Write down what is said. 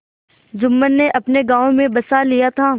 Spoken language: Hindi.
जुम्मन ने अपने गाँव में बसा लिया था